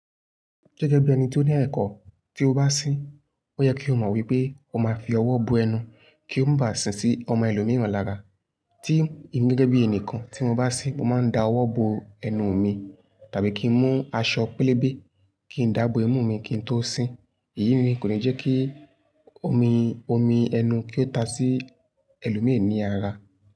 Gẹ́gẹ́ bí ẹni tó ní ẹ̀kọ́, tí o bá sín, ó yẹ kí o mọ̀ wípé o máa fi ọwọ́ bo ẹnu kí ó bá si sí ọmọ ẹlòmíràn lára. Tí emi gẹ́gẹ́ bí ẹnìkan tí mo bá sín, mo máa ń da ọwọ́ bo ẹnu mi tàbí kí n mú aṣọ pélébé kí n dáàbò imú mi kí n tó sín. Èyí nì kó ni jẹ́ kí omi, omi ẹnu kí ó ta sí ẹlòmíràn ní ara.